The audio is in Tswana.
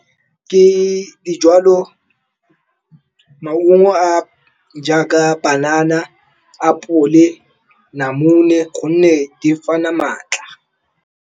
Ke di jwalo, maungo a jaaka panana, apole, namune gonne di fana maatla.